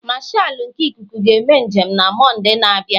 Marshalu nke Ịkụku ga-eme njem na Mọnde na-abịa.